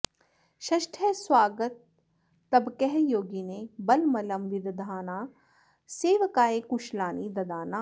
षष्ठः स्वागतास्तबकः योगिने बलमलं विदधाना सेवकाय कुशलानि ददाना